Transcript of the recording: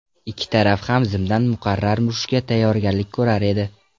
Ikki taraf ham zimdan muqarrar urushga tayyorgarlik ko‘rar edi.